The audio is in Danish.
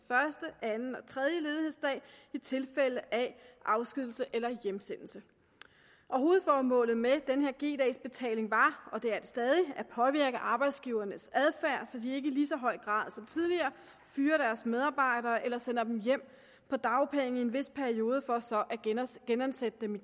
anden og den tredje ledighedsdag i tilfælde af afskedigelse eller hjemsendelse hovedformålet med den her g dags betaling var og det er det stadig at påvirke arbejdsgivernes adfærd så de ikke i lige så høj grad som tidligere fyrer deres medarbejdere eller sender dem hjem på dagpenge i en vis periode for så at genansætte genansætte dem